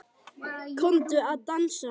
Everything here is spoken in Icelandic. Komdu að dansa